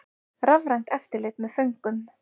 Rafrænt eftirlit með föngum